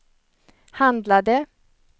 handlade